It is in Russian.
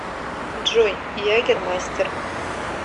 джой ягермастер